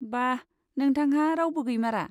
बा, नोंथांहा रावबो गैमारा?